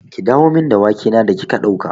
Ki dawo min da wake na da kika ɗauka!